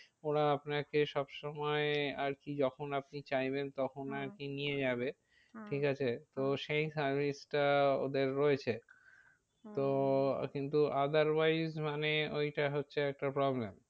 ওরা আপনাকে সব সময় আর কি যখন আপনি চাইবেন তখন আর কি নিয়ে যাবে। ঠিক আছে তো সেই service টা ওদের রয়েছে। তো কিন্তু otherwise মানে ওইটা হচ্ছে একটা problem